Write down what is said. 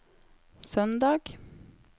søndag